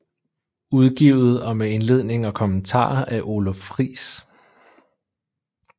Udgivet og med indledning og kommentarer af Oluf Friis